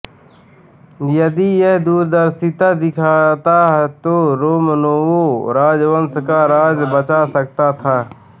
यदि यह दूरदर्शिता दिखाता तो रोमनोव राजवंश का राज्य बचा सकता था